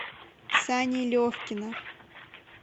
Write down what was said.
сани левкина